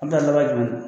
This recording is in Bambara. A bɛ taa laban jumɛn